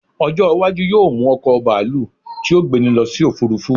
ọjọ iwaju yíò mu oko baalu ti o gbeni lo sí òfurufú